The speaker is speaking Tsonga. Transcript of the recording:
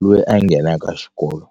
loyi a nghenaka xikolo.